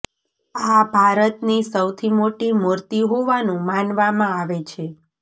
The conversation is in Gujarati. આ ભારતની સૌથી મોટી મૂર્તિ હોવાનું માનવામાં આવે છે